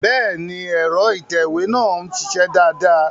Bẹ́ẹ̀ni, ẹ̀rọ ìtẹ̀wé náà ń ṣiṣẹ́ dáadáa